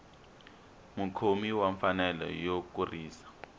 mukhomi wa mfanelo yo kurisa